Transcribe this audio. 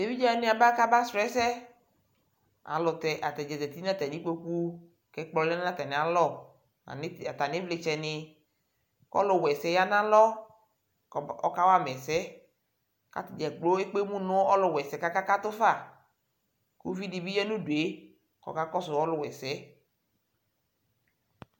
Evidze wanɩ aba kʋ abasʋ ɛsɛ Alʋ tɛ ata dza zati nʋ atamɩ kpoku kʋ ɛkplɔ lɛ nʋ atamɩalɔ Atamɩ ti atamɩ ɩvlɩtsɛnɩ kʋ ɔlʋwaɛsɛ yɛ lɛ nʋ alɔ kɔm ɔkawa ma ɛsɛ kʋ ata dza kplo ekpe emu nʋ ɔlʋwaɛsɛ kʋ akakatʋ fa Uvi dɩ bɩ ya nʋ udu yɛ kʋ ɔkakɔsʋ ɔlʋwaɛsɛ yɛ